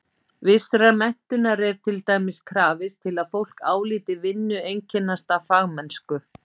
Vissrar menntunar er til dæmis krafist til að fólk álíti vinnu einkennast af fagmennsku.